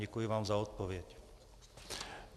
Děkuji vám za odpověď.